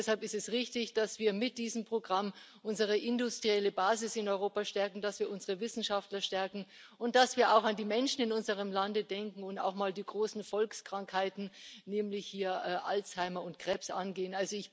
Deshalb ist es richtig, dass wir mit diesem Programm unsere industrielle Basis in Europa stärken, dass wir unsere Wissenschaftler stärken, und dass wir auch an die Menschen in unserem Lande denken und auch mal die großen Volkskrankheiten, nämlich Alzheimer und Krebs, angehen.